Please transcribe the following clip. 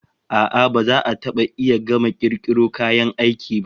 A'a, ba za a taba iya gama kirkiro kayan aiki ba.